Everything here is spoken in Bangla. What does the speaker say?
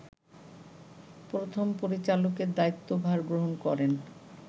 প্রথম পরিচালকের দায়িত্বভার গ্রহণ করেন